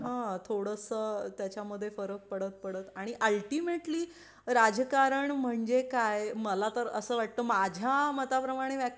थोडासा त्याच्या मध्ये फरक पडत पडत आणि अल्टिमेट ली राजकारण म्हणजे काय मला तर असं वाटतं माझ्या मता प्रमाणे व्याख्या